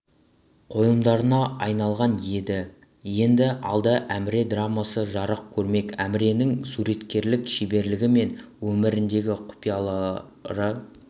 қойылымдарына айналған еді енді алда әміре драмасы жарық көрмек әміренің суреткерлік шеберлігі мен өміріндегі құпиялары